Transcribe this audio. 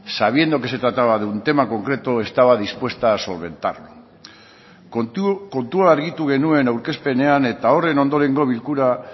sabiendo que se trataba de un tema concreto estaba dispuesta a solventarlo kontua argitu genuen aurkezpenean eta horren ondorengo bilkura